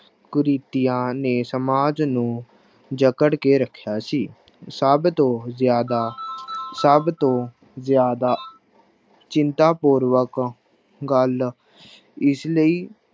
ਕੁਰੀਤੀਆਂ ਨੇ ਸਮਾਜ ਨੂੰ ਜਕੜ ਕੇ ਰੱਖਿਆ ਸੀ ਸਭ ਤੋਂ ਜ਼ਿਆਦਾ ਸਭ ਤੋਂ ਜ਼ਿਆਦਾ ਚਿੰਤਾ ਪੂਰਵਕ ਗੱਲ ਇਸ ਲਈ